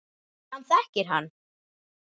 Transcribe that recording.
Hann þekkir hann.